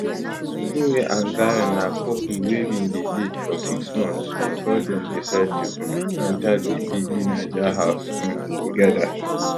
chinwe and zion na couple wey bin dey date for six months bifor dem decide to um enta di bbnaija house um togeda